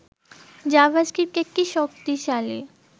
JavaScript একটি শক্তিশালী